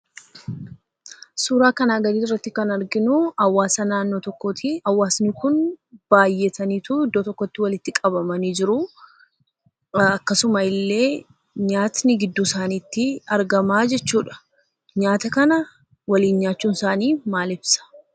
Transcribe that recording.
Suuraa kana gadiirratti kan arginuu, hawaasa naannoo tookkotii. Hawaasni kun baay'atanii iddoo tokkotti walitti qabamanii jiruu. Akkasumallee, nyaanni gidduu isaaniitti argama jechuudha. Nyaata kana waliin nyaachuun isaanii maal ibsa?